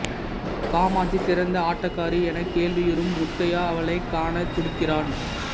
காமாட்சி சிறந்த ஆட்டக்காரி எனக் கேள்வியுறும் முத்தையா அவளைக் காணத் துடிக்கிறான்